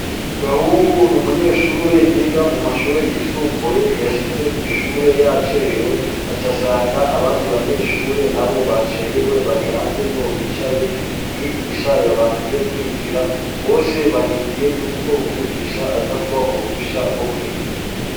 Gahungu n'umunyeshure yiga mumashure yisumbuye yiga yaje yacerewe aca asanga abandi banyeshure nabo bacerewe barihanze niyo bicaye umwigisha yabankiye kwinjira barindiriye ko umwigisha aza kubaha uruhusha rwokwinjira.